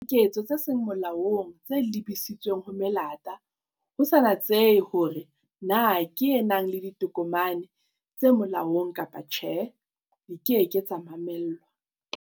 Diketso tse seng molaong tse lebisitsweng ho melata, ho sa natsehe hore na ke e nang le ditokomane tse molaong kapa tjhe, di ke ke tsa mamellwa.